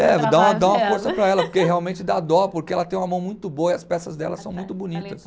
É, dá uma, dá uma força para ela, porque realmente dá dó, porque ela tem uma mão muito boa e as peças dela são muito bonitas.